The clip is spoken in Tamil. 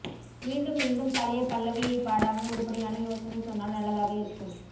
மீண்டும் மீண்டும் பழைய பல்லவியை பாடாமல் உருப்படியான யோசனை சொன்னால் நல்லதாக இருக்கும்